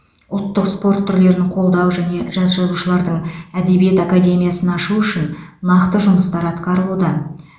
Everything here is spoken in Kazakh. ұлттық спорт түрлерін қолдау және жас жазушылардың әдебиет академиясын ашу үшін нақты жұмыстар атқарылуда